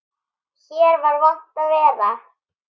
Hér var vont að vera.